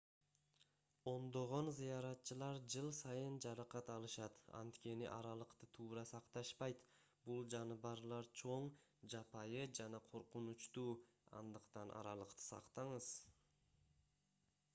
ондогон зыяратчылар жыл сайын жаракат алышат анткени аралыкты туура сакташпайт бул жаныбарлар чоң жапайы жана коркунучтуу андыктан аралыкты сактаңыз